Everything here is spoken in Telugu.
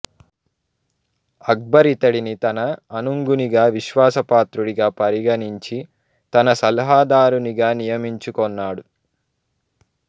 అక్బర్ ఇతడిని తన అనుంగునిగా విశ్వాసపాత్రుడిగా పరిగణించి తన సలహాదారునిగా నియమించుకొన్నాడు